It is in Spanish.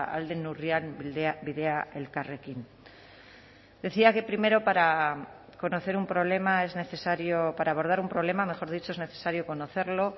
ahal den neurrian bidea elkarrekin decía que primero para conocer un problema es necesario para abordar un problema mejor dicho es necesario conocerlo